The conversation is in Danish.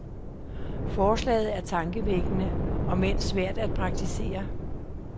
Forslaget er tankevækkende, om end svært at praktisere.